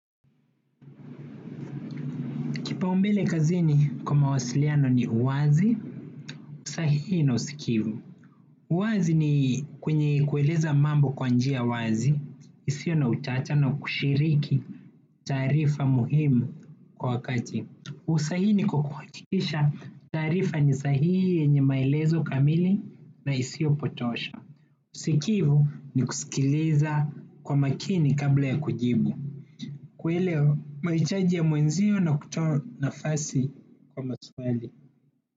Kipaumbele kazini kwa mawasiliano ni uwazi, usahihi na usikivu. Uwazi ni kwenye kueleza mambo kwa njia wazi, isio na utata na kushiriki taarifa muhimu kwa wakati. Usahihi ni kwa kuhakikisha taarifa ni sahihi yenye maelezo kamili na isio potosha. Usikivu ni kusikiliza kwa makini kabla ya kujibu. Kuelewa mahitaji ya mwenzio na kutoa nafasi kwa maswali.